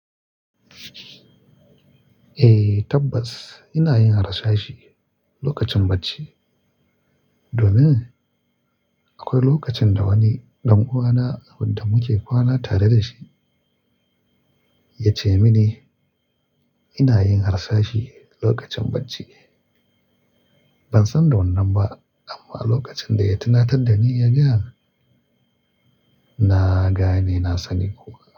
Eh tabbas ina yin harsashi lokacin bacci domin akwai lokacin da wani ɗan uwana wanda muke kwana tare da shi ya ce mini ina yin harsashi lokacin bacci. Ban san da wannan ba amma lokacin da ya tuna ta da ni ya gane na gane na sani kuwa.